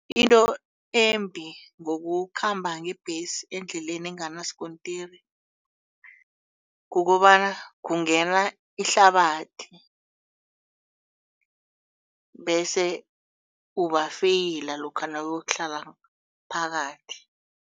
Into embi ngokukhamba ngebhesi endleleni enganasikontiri kukobana kungena ihlabathi bese ubafeyila lokha nawuyokuhlala phakathi.